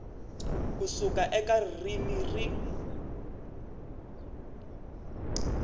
ku suka eka ririmi rin